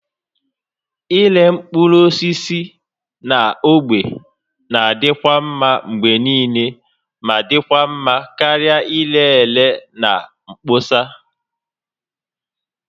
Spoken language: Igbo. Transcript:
Ịre mkpụrụ osisi na ogbe na-adịkwa mma mgbe niile ma dị mma karịa ire ere na mkpọsa